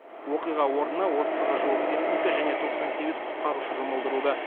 оқиға орнына отызға жуық техника және тоқсан сегіз құтқарушы жұмылдырылды